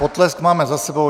Potlesk máme za sebou.